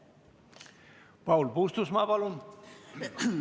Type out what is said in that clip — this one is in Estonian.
Paul Puustusmaa, palun!